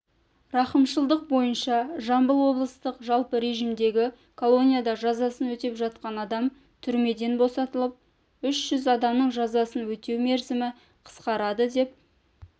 рақымшылық бойынша жамбыл облыстық жалпы режімдегі колонияда жазасын өтеп жатқан адам түрмеден босатылып үш жүз адамның жазасын өтеу мерзімі қысқарады деп